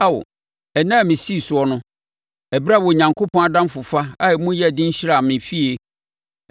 Ao, ɛnna a mesii soɔ no, ɛberɛ a Onyankopɔn adamfofa a emu yɛ den hyiraa me fie,